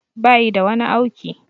Bayi da wani auki